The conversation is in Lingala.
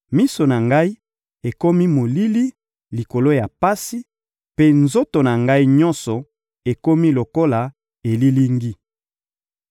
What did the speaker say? Miso na ngai ekomi molili likolo ya pasi, mpe nzoto na ngai nyonso ekomi lokola elilingi.